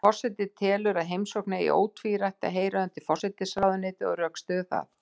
En forseti telur að heimsóknin eigi ótvírætt að heyra undir forsætisráðuneytið og rökstyður það.